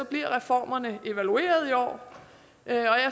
bliver reformerne evalueret i år jeg